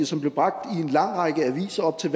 som blev bragt i en lang række aviser op til